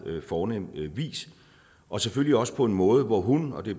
fornem vis og selvfølgelig også på en måde hvor hun og det